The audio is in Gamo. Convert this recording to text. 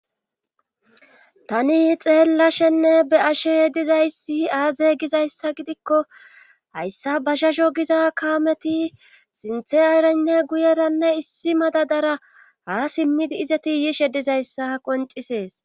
tani xeellashenne be ashe dizayssi aaze gizayssa gidikko hayssa ba shasho giza kaameti sinthe ayranne guyeranne issi madadara ha simmidi izati yishe dizayssa qoncisees